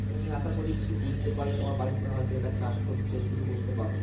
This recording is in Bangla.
তুমি আশা করি কিছু বুঝতে পারলে তোমার বাড়িতে হয়তো এটা চাষ করতে শুরু করতে পারো।